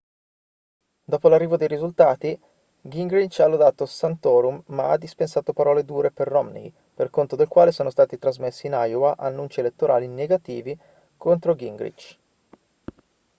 dopo l'arrivo dei risultati gingrich ha lodato santorum ma ha dispensato parole dure per romney per conto del quale sono stati trasmessi in iowa annunci elettorali negativi contro gingrich